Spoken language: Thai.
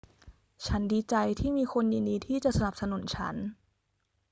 ฉันดีใจที่มีคนยินดีที่จะสนับสนุนฉัน